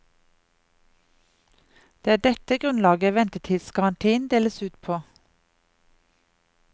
Det er dette grunnlaget ventetidsgarantien deles ut på.